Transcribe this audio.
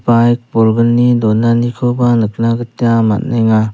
baik bolgni donanikoba nikna gita man·enga.